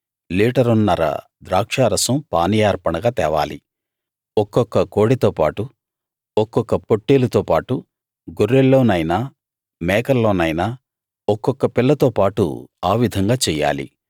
లీటరున్నర ద్రాక్షారసం పానీయార్పణగా తేవాలి ఒక్కొక్క కోడెతోపాటు ఒక్కొక్క పొట్టేలుతోపాటు గొర్రెల్లోనైనా మేకల్లోనైనా ఒక్కొక్క పిల్లతో పాటు ఆ విధంగా చెయ్యాలి